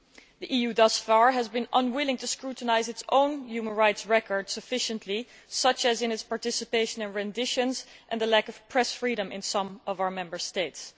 The EU thus far has been unwilling to scrutinise its own human rights record sufficiently, for example, its participation in renditions and the lack of press freedom in some of our Member States.